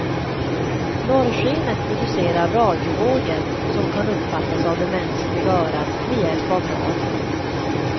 Norrskenet producerar radiovågor, som kan uppfattas av det mänskliga örat med hjälp av radio.